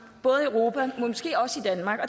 både i europa men måske også i danmark og